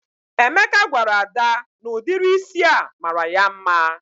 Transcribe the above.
Emeka gwara Ada na ụdịrị ísì a mara ya mma